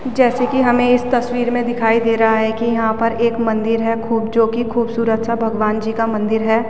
जैसे की हमे इस तस्वीर में दिखाई दे रहा है की यहाँ पर एक मंदीर है खूब जो की खुबसूरत सा भगवान जी का मंदिर है।